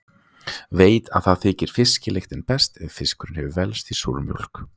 Veit að því þykir fiskilyktin best ef fiskurinn hefur velst í súrmjólk.